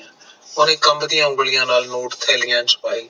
ਓਨੇ ਕੰਬਦੀਆਂ ਉਂਗਲੀਆਂ ਨਾਲ ਨੋਟ ਥਾਈਆਂ ਚ ਪਾਏ